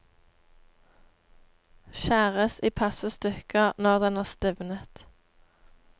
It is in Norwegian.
Skjæres i passe stykker når den er stivnet.